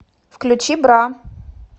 включи бра